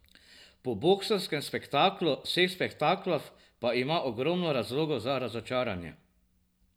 Po boksarskem spektaklu vseh spektaklov pa ima ogromno razlogov za razočaranje.